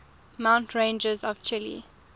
mountain ranges of chile